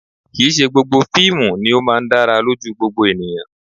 Kì̀ í ṣe gbogbo fíìmù ni ó máa ń dára lójú gbogbo ènìyàn